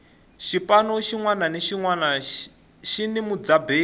xipano xinwana ni xinwana xini mudzaberi